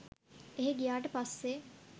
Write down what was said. එහෙ ගියාට පස්සේ